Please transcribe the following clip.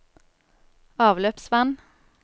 avløpsvann